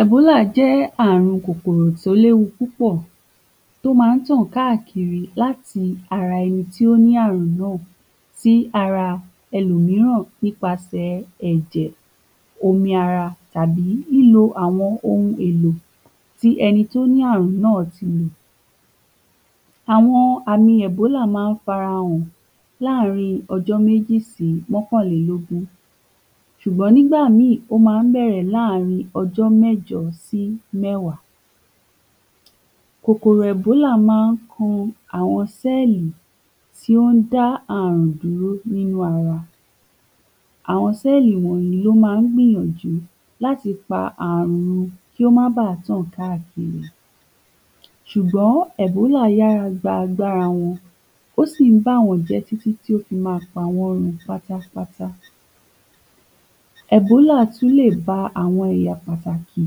Ẹ̀bólà jẹ́ àrun kòkòrò tó léwu púpọ̀ tó ma ń tàn káàkiri láti ara ẹni tó ní àrùn náà sí ara ẹlòmíràn nípasẹ̀ẹ ẹ̀jẹ̀ omi ara tàbí lílo àwọn ohun èlò tí ẹni tó ní àrùn náà ti ni àwọn àmì ẹ̀bọ́là má ń fara hàn láàrín ojó méjì si mọ́kànlélógún ṣùgbọ́n nígbà míì ó ma ń bẹ̀rẹ̀ láàrín ọjọ́ mẹ́jọ sí mẹ́wá kòkòrò ẹ̀bọ́là má ń kan àwọn sẹ́ẹ̀lì tí ó ń dá àrùn dúró nínú ara àwọn sẹ́ẹ̀lì wọ̀nyí ló ma ń gbìyànjú láti pa àrun kí ó má bà tàn káàkiri ṣùgbọ́n ẹ̀bólà yára gba agbára wọn ó sì ń bá wọ́n jẹ́ tí tí tó fi ma pawọ́n run pátápátá ẹ̀bólà tú lè ba àwọn ẹ̀yà pàtàkì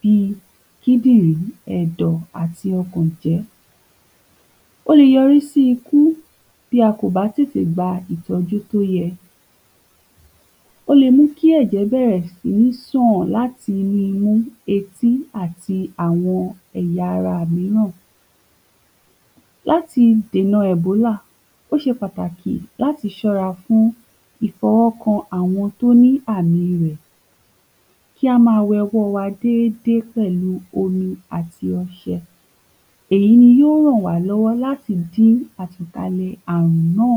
bíi kídìnrí, ẹ̀dọ̀ àti ọkàn jẹ́ ó le yọrí sí ikú tí a kò bá tètè gba ìtọ́jú tó yẹ ó le mú kí ẹ̀jẹ̀ bẹ̀rẹ̀ sí sàn láti imú etí àti àwọn ẹ̀ya ara míràn láti dènà ẹ̀bólà ó ṣe pàtàkì láti ṣọra fún ìfọwọ́ kan àwọn tó ní àmi rẹ̀ kí á ma we ọwọ́ wa dédé pẹ̀lu omi àti ọṣẹ èyi yí ó ràn wá lọ́wọ́ láti dí àtankalẹ̀ àrùn náà